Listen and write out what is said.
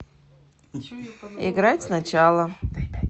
играть сначала